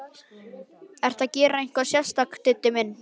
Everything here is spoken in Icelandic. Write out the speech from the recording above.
Ertu að gera eitthvað sérstakt, Diddi minn.